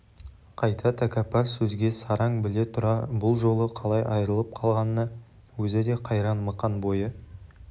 қайта тәкаппар сөзге сараң біле тұра бұл жолы қалай айырылып қалғанына өзі де қайран мықан бойы